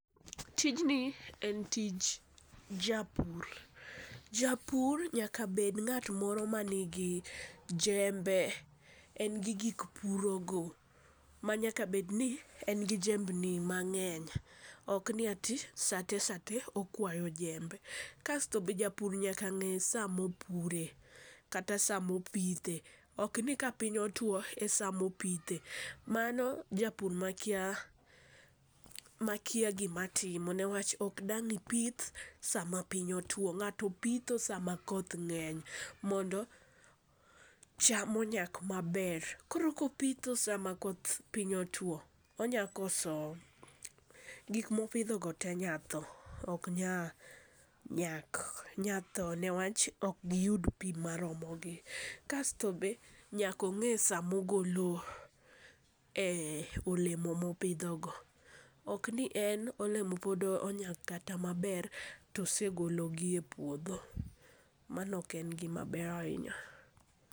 Tijni en tij japur japur nyaka bed ng'at moro manigi jembe, en gi gik piro go manyaka bed ni en gi jembni mang'eny. Ok ni ati satesate okwayo jembe. Kasto be japur nyaka ng'e saa mopuro kata saa mopithe, ok ni ka piny otwo esamo pithe. Mano japur makia makia gima timo newach ok dang' ipith sama piny otuo ng'ato pitho sama koth ng'eny mondo cham onyak maber. Koro kopitho sama koth piny otuo onya koso gik mopidho go tee nya tho ok nya nyak. Nyatho newach ok giyud pii maromo gii kasto be nyako ng'e samo golo e olemo mopidho go. Ok ni en olemo pod onyak kata maber tosegolo gi epuodho , mano ok en gima ber ahinya.